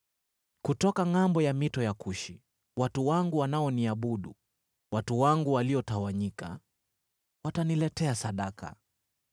Kutoka ngʼambo ya mito ya Kushi watu wangu wanaoniabudu, watu wangu waliotawanyika, wataniletea sadaka.